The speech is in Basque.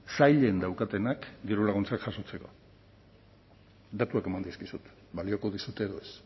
sailen daukatenak dirulaguntzak jasotzeko datuak eman dizkizut balioko dizute edo ez